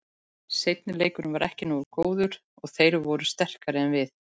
Seinni leikurinn var ekki nógu góður og þeir voru sterkari en við.